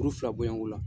Kuru fila bɔɲɔngo la